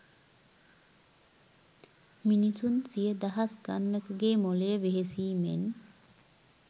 මිනිසුන් සිය දහස් ගණනකගේ මොලය වෙහෙසීමෙන්